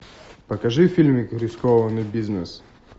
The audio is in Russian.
покажи фильмик рискованный бизнес